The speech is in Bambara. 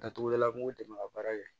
Datugudala kungo de don ka baara kɛ